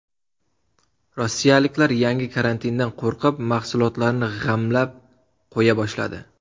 Rossiyaliklar yangi karantindan qo‘rqib, mahsulotlarni g‘amlab qo‘ya boshladi.